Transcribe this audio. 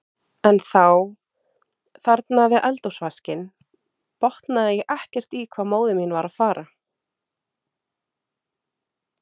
En þá, þarna við eldhúsvaskinn, botnaði ég ekkert í hvað móðir mín var að fara.